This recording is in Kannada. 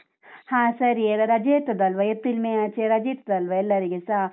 ಹಾ ಸರಿ, ಎಲ್ಲ ರಜೆ ಇರ್ತದಲ್ವಾ ಎಪ್ರಿಲ್, ಮೇ ಆಚೆ ರಜೆ ಇರ್ತದಲ್ವಾ ಎಲ್ಲರಿಗೆಸಾ?